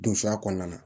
Donsoya kɔnɔna na